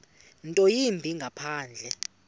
nto yimbi ngaphandle